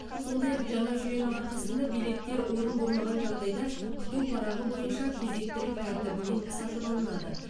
сондай ақ жаңа жүйенің арқасында билеттер орын болмаған жағдайда күту парағы бойынша кезектілік тәртібімен сатып алынады